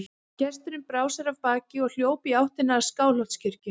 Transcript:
Gesturinn brá sér af baki og hljóp í áttina að Skálholtskirkju.